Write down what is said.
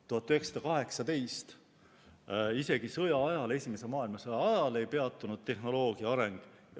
1918, isegi sõja ajal, esimese maailmasõja ajal ei peatunud tehnoloogia areng.